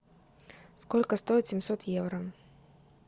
сколько стоит семьсот евро